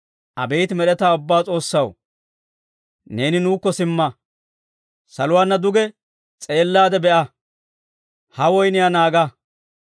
Abeet Med'etaa Ubbaa S'oossaw, neeni nuukko simma. Saluwaana duge s'eellaade be'a; ha woyniyaa naaga.